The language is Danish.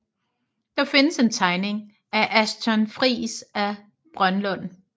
Der findes en tegning af Achton Friis af Brønlund